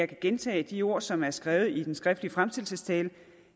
gentage de ord som er skrevet i den skriftlige fremsættelsestale